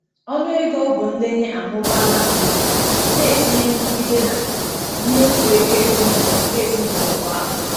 Ọnụ ego ọgwụ ndenye amụbaala nke ukwuu, na-etinye nrụgide na mmefu ego ezinụlọ nke ezinụlọ kwa afọ.